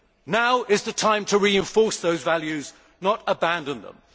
Now is the time to reinforce those values, not abandon them.